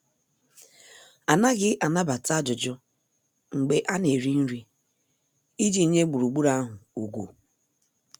Anaghị anabata ajụjụ mgbe a na- eri nri, iji nye gburugburu ahụ ugwu.